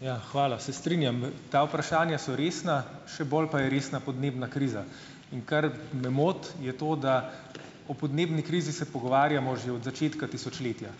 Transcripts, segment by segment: Ja, hvala. Se strinjam. Ta vprašanja so resna, še bolj pa je resna podnebna kriza, in kar me moti, je to, da o podnebni krizi se pogovarjamo že od začetka tisočletja,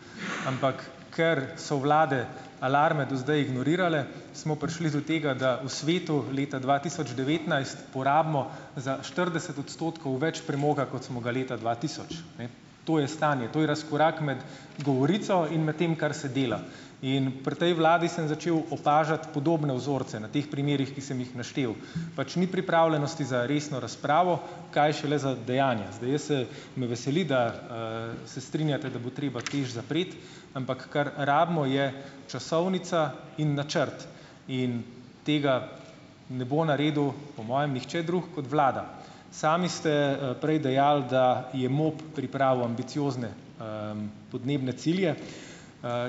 ampak ker so vlade alarme do zdaj ignorirale, smo prišli do tega, da v svetu leta dva tisoč devetnajst, porabimo za štirideset odstotkov več premoga, kot smo ga leta dva tisoč, ne. To je stanje, to je razkorak med govorico in med tem, kar se dela. In pri tej vladi sem začel opažati podobne vzorce na teh primerih, ki sem jih naštel. Pač ni pripravljenosti za resno razpravo, kaj šele za dejanja. Zdaj jaz se ... Me veseli, da, se strinjate, da bo treba TEŠ zapreti, ampak kar rabimo, je časovnica in načrt in tega ne bo naredil - po mojem nihče drug kot vlada. Sami ste, prej dejali, da je MOP pripravil ambiciozne, podnebne cilje.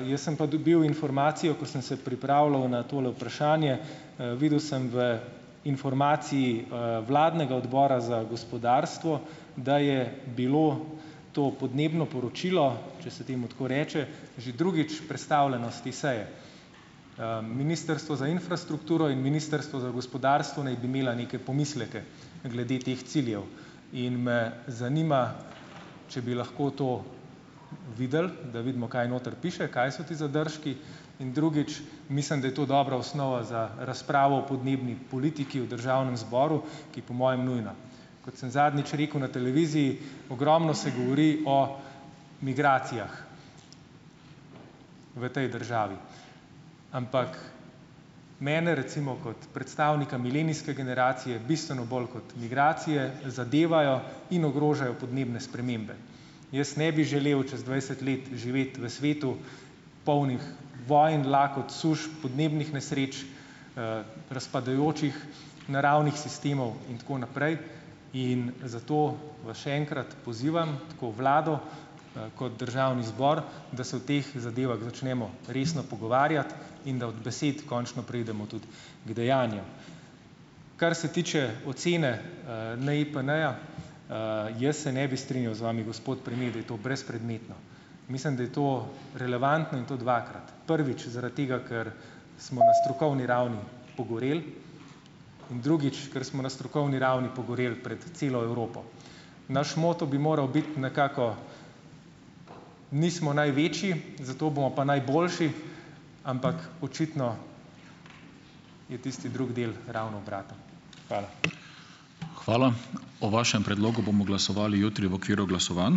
Jaz sem pa dobil informacijo, ko sem se pripravljal na tole vprašanje - videl sem v informaciji, vladnega Odbora za gospodarstvo, da je bilo to podnebno poročilo, če se temu tako reče, že drugič prestavljeno s te seje. Ministrstvo za infrastrukturo in Ministrstvo za gospodarstvo naj bi imeli neke pomisleke glede teh ciljev in me zanima, če bi lahko to videli, da vidimo kaj noter piše, kaj so ti zadržki, in drugič, mislim, da je to dobra osnova za razpravo o podnebni politiki v državnem zboru, ki je po mojem nujna. Kot sem zadnjič rekel na televiziji, ogromno se govori o migracijah v tej državi. Ampak mene recimo kot predstavnika milenijske generacije bistveno bolj kot migracije zadevajo in ogrožajo podnebne spremembe. Jaz ne bi želel čez dvajset let živeti v svetu, polnem vonj, lakot, suš, podnebnih nesreč, razpadajočih naravnih sistemov in tako naprej. In zato vas še enkrat pozivam, tako vlado, kot državni zbor, da se o teh zadevah začnemo resno pogovarjati in da od besed končno preidemo tudi k dejanjem. Kar se tiče ocene, NIPN-ja, jaz se ne bi strinjal z vami, gospod premier, da je to brezpredmetno. Mislim, da je to relevantno in to dvakrat, prvič zaradi tega, ker smo na strokovni ravni pogoreli, in drugič, ker smo na strokovni ravni pogoreli pred celo Evropo. Naš moto bi moral biti nekako nismo največji, zato bomo pa najboljši, ampak očitno je tisti drugi del ravno obraten. Hvala.